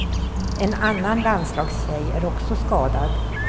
En annan landslagstjej är också skadad.